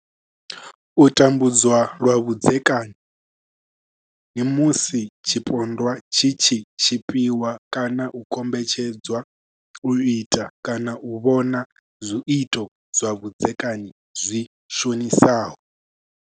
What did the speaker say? U tambudzwa lwa vhudzekani musi tshipondwa tshi tshi tshipiwa kana u kombetshedzwa u ita kana u vhona zwiito zwa vhudzekani zwi shonisaho.